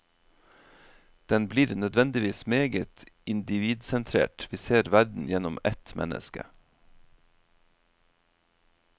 Den blir nødvendigvis meget individsentrert, vi ser verden gjennom ett menneske.